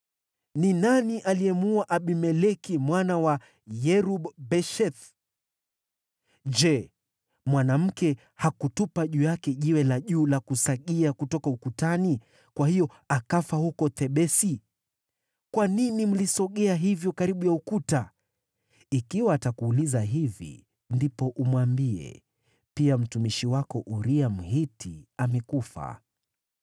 Ni nani aliyemuua Abimeleki mwana wa Yerub-Besheth? Je, mwanamke hakutupa juu yake jiwe la juu la kusagia kutoka ukutani, kwa hiyo akafa huko Thebesi? Kwa nini mlisogea hivyo karibu ya ukuta?’ Ikiwa atakuuliza hivi, ndipo umwambie, ‘Pia mtumishi wako Uria, Mhiti, amekufa.’ ”